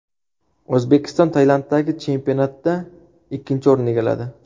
O‘zbekiston Tailanddagi chempionatda ikkinchi o‘rinni egalladi.